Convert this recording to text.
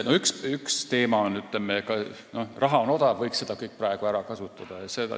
Üks teema on see, et raha on odav ja selle võiks kõik praegu ära kasutada.